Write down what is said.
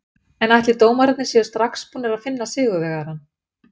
En ætli dómararnir séu strax búnir að finna sigurvegarann?